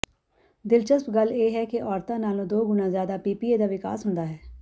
ਦਿਲਚਸਪ ਗੱਲ ਇਹ ਹੈ ਕਿ ਔਰਤਾਂ ਨਾਲੋਂ ਦੋ ਗੁਣਾ ਜ਼ਿਆਦਾ ਪੀਪੀਏ ਦਾ ਵਿਕਾਸ ਹੁੰਦਾ ਹੈ